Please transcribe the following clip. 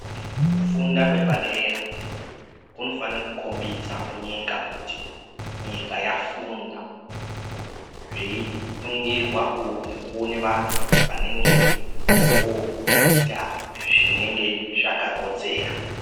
Kunfuda kwepadera kunofana kukombidza kuti nyika yafunda zveiningirwa nekuona vantu vanenge voita zvinenge zvakakodzera.